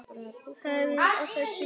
Horfir á þessa fallegu krukku.